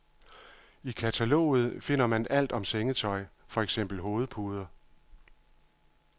I kataloget finder man alt om sengetøj, for eksempel hovedpuder.